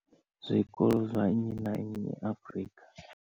Zwikolo zwa nnyi na nnyi Afrika.